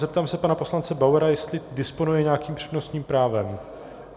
Zeptám se pana poslance Bauera, jestli disponuje nějakým přednostním právem.